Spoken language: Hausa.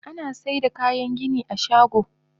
Anasaida kayan gini a shago.